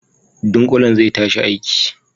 Ɗunkulen zai tashi aiki.